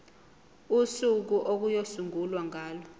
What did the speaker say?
usuku okuyosungulwa ngalo